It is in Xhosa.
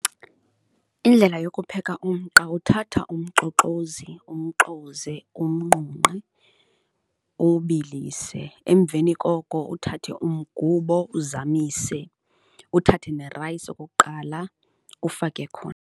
Indlela yokupheka umqa uthatha umxoxozi, umxoze, umnqunqe, uwubilise. Emveni koko uthathe umgubo, uzamise uthathe nerayisi okokuqala ufake khona.